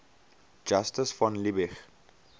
justus von liebig